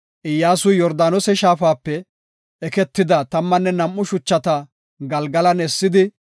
Iyyasuy Yordaanose shaafape eketida tammanne nam7u shuchata Galgalan essidi,